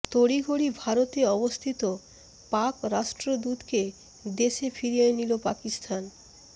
তড়িঘড়ি ভারতে অবস্থিত পাক রাষ্ট্রদূতকে দেশে ফিরিয়ে নিল পাকিস্তান